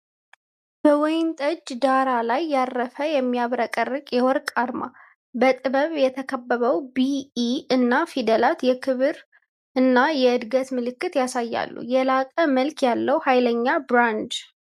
በወይንጠጅ ዳራ ላይ ያረፈ የሚያብረቀርቅ የወርቅ አርማ! በጥበብ የተከበበው "ቢኢ" እና ፊደላት የክብር እና የእድገትን ምልክት ያሳያሉ። የላቀ መልክ ያለው ኃይለኛ ብራንድ!